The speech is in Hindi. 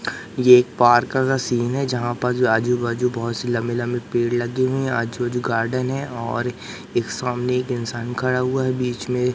ये एक पार्क का सीन है जहां पर आजू-बाजू बहोत सी लंबे-लंबे पेड़ लगी है आजू-बाजू गार्डन है और ये सामने एक इंसान खड़ा हुआ है बीच में --